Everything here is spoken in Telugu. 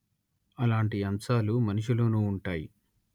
అలాంటి అంశాలు మనిషిలోనూ ఉంటాయి